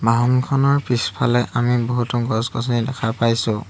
বাহনখনৰ পিছফালে আমি বহুতো গছ-গছনি দেখা পাইছোঁ।